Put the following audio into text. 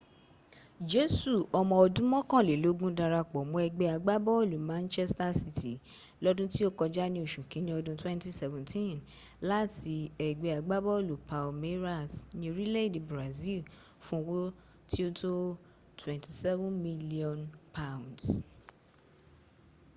jesu omo odun mokanlelogun darapo mo egbe agbabolu manchester city lodun ti o koja ni osu kinni odun 2017 lati egbe agbabolu palmeiras ni orile ede brazil fun owo ti o to £27 million